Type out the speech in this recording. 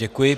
Děkuji.